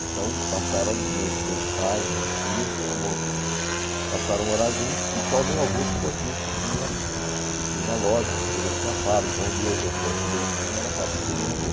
Então passaram, o meu meu pai e meus tios mo passaram a morar juntos e só o meu avô ficou aqui, que tinha que tinha loja, nessa altura já tinha fábrica, onde hoje é o Sesc Belenzinho, era a fábrica do meu avô.